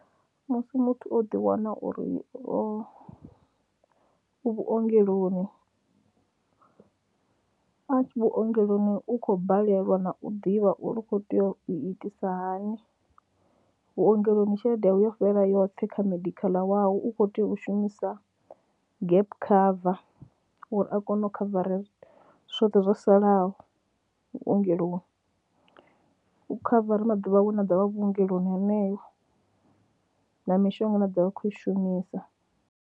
Musi muthu o ḓiwana uri o u vhuongeloni, u vhuongeloni u khou balelwa na u ḓivha uri u khou tea u itisa hani, vhuongeloni tshelede yawe yo fhela yoṱhe kha medical wau, u khou tea u shumisa gap cover uri a kone u khavara zwithu zwoṱhe zwo salaho vhuongeloni, u khavara maḓuvha awe ane a ḓo vha a vhuongeloni heneyo na mishonga ine a ḓo vha a khou i shumisa.